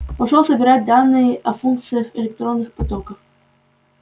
пошёл собирать данные о функциях электронных потоков